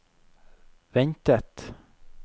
ventet